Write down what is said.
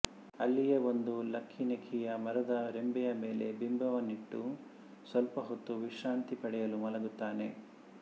ಅಲ್ಲಿಯೇ ಒಂದು ಲಕ್ಕಿನೆಕ್ಕಿಯ ಮರದ ರೆಂಬೆಯ ಮೇಲೆ ಬಿಂಬವನ್ನಿಟ್ಟು ಸ್ವಲ್ಪ ಹೊತ್ತು ವಿಶ್ರಾಂತಿ ಪಡೆಯಲು ಮಲಗುತ್ತಾನೆ